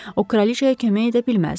O kraliçaya kömək edə bilməzdi.